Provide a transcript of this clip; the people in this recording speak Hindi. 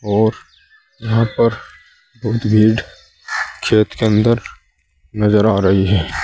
और यहां पर बहुत भीड़ खेत के अंदर नजर आ रही है।